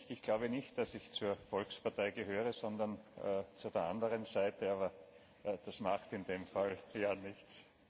Ich glaube nicht, dass ich zur Volkspartei gehöre, sondern zur der anderen Seite, aber das macht in dem Fall nichts.